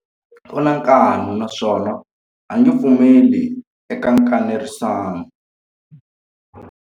U na nkani naswona a nge pfumeli eka nkanerisano.